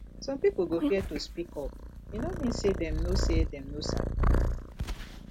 some pipo go fear to speak up e no mean say dem no say dem no sabi